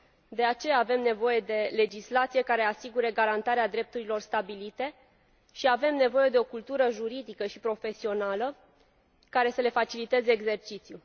De aceea, avem nevoie de o legislație care să asigure garantarea drepturilor stabilite și avem nevoie de o cultură juridică și profesională care să le faciliteze exercițiul.